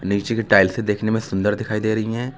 नीचे की टाइलसे देखने में सुंदर दिखाई दे रही है।